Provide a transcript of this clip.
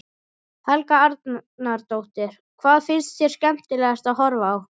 Helga Arnardóttir: Hvað finnst þér skemmtilegast að horfa á?